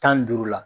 Tan ni duuru la